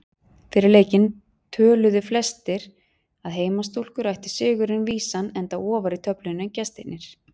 Fyrir leikinn töluðu flestir að heimastúlkur ættu sigurinn vísan enda ofar í töflunni en gestirnir.